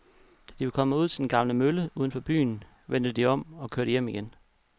Da de var kommet ud til den gamle mølle uden for byen, vendte de om og kørte hjem igen.